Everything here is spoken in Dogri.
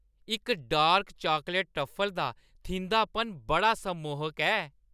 इस डार्क चॉकलेट ट्रफल दा थिंधापन बड़ा सम्मोहक ऐ।